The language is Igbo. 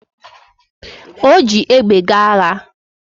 O ji egbe gaa agha